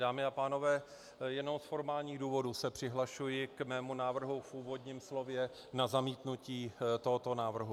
Dámy a pánové, jenom z formálních důvodů se přihlašuji k svému návrhu v úvodním slově na zamítnutí tohoto návrhu.